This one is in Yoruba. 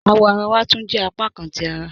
Awọ̀ àrà wà túń jẹ́ apákàn ti àrà